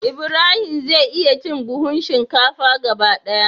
Ibrahim zai iya cin buhun shinkafa gaba daya.